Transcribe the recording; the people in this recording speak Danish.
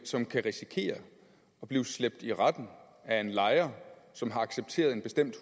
som kan risikere at blive slæbt i retten af en lejer som har accepteret en bestemt